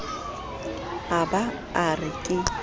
a ba a re ke